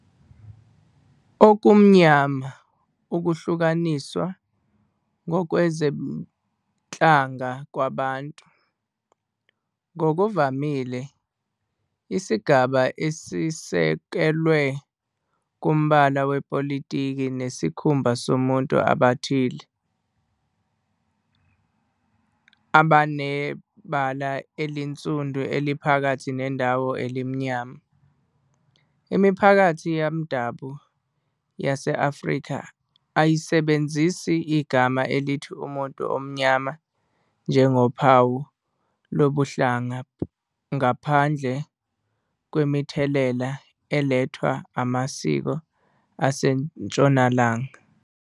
Okumnyama ukuhlukaniswa ngokwezinhlanga kwabantu, ngokuvamile isigaba esisekelwe kumbala wepolitiki nesikhumba kubantu abathile abanebala elinsundu eliphakathi nendawo elimnyama. Imiphakathi yomdabu yase-Afrika ayisebenzisi igama elithi umuntu omnyama njengophawu lobuhlanga ngaphandle kwemithelela elethwa amasiko aseNtshonalanga.